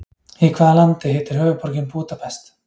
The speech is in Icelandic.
Í hvaða landi heitir höfuðborgin Búdapest?